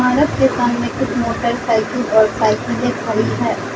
सड़क के सामने कुछ मोटरसाइकिल और साईकले खड़ी है।